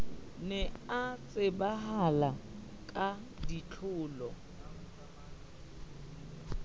ne a tsebahala ka ditlolo